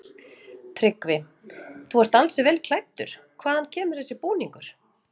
Tryggvi: Þú ert ansi vel klæddur, hvaðan kemur þessi búningur?